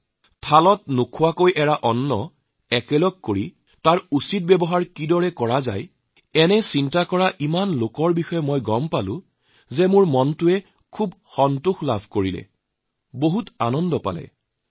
খোৱাৰ থালিত যিখিনি পেলাই দিয়া হৈছে সেয়া একলগ কৰি তাৰ সঠিক ব্যৱহাৰ কেনেদৰে হব এই কামত জড়িত কৰিবলৈ ইমান মানুহে মোৰ মনোযোগ আকৰ্ষণ কৰিছে সেয়া জানি মোৰ অত্যন্ত ভাল লাগিছে আনন্দিত হৈছোঁ